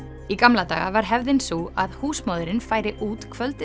í gamla daga var hefðin sú að húsmóðirin færi út kvöldið